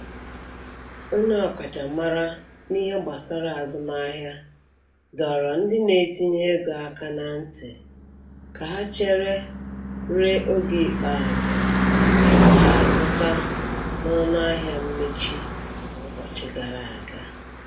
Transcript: Onye ọkachamara n'ihe gbasara azụmahịa dọrọ ndị na-etinye ego aka na ntị ka ha chere ruo oge ikpeazụ tupu ha azụta na ọnụahịa mmechi nke ụbọchị gara aga.